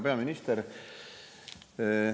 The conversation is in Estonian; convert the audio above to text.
Härra peaminister!